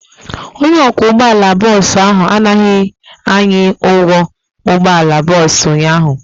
Onye ọkwọ ụgbọala bọọsụ ahụ anaghị anyị ụgwọ ụgbọala bọọsụ ụnyaahụ.